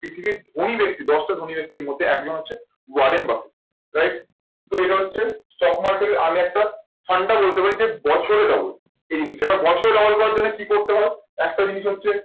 পৃথিবীর ধনী ব্যাক্তি, দশটা ধনী ব্যক্তির মধ্যে একজন হচ্ছে ওয়ারেন বাফেট। right তো এটা হচ্ছে stock market এর আমি একটা ফান্ডা বলতে পারি, বছরে double এই হিসেবে বছরে double করার জন্য কি করতে হবে? একটা জিনিস হচ্ছে